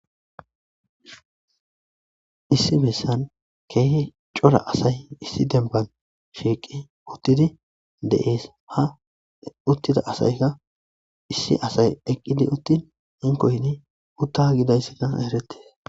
issi bessan keehe cora asay issi demban shiiqi uttidi de'ees ha uttida asayka issi asay eqqidi uttin hinkoyti utta gidayssaka eretees